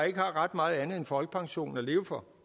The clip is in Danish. ikke har ret meget andet end folkepensionen at leve for